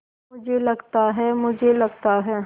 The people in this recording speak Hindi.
मुझे लगता है मुझे लगता है